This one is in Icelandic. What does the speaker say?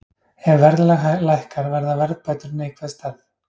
Ef verðlag lækkar verða verðbætur neikvæð stærð.